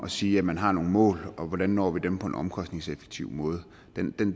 sige at man har nogle mål og hvordan vi når dem på en omkostningseffektiv måde